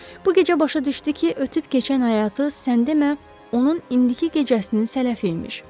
Bu gecə başa düşdü ki, ötüb keçən həyatı sən demə, onun indiki gecəsinin sələfi imiş.